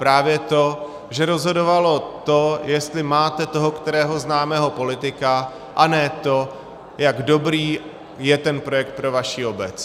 Právě to, že rozhodovalo to, jestli máte toho kterého známého politika, a ne to, jak dobrý je ten projekt pro vaši obec.